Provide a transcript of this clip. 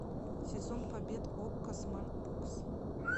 сезон побед окко смарт бокс